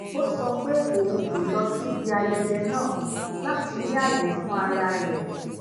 ó sọ pé òun kò lọ síbi ayẹyẹ náà lati ni aaye fun ara re